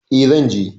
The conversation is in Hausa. E, zan je.